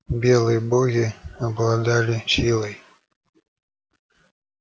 белые боги обладали силой